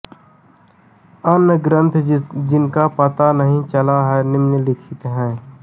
अन्य ग्रंथ जिनका पता नहीं चला है निम्नलिखित है